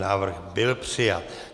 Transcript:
Návrh byl přijat.